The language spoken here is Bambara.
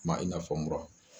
Kuma i n'a fɔ mura.